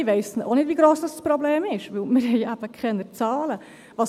Ich weiss auch nicht, wie gross das Problem ist, weil wir eben keine Zahlen haben.